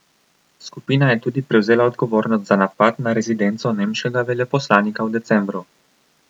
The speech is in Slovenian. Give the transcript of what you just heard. Skupina je tudi prevzela odgovornost za napad na rezidenco nemškega veleposlanika v decembru.